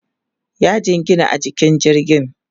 ya jingina a jikin jirgin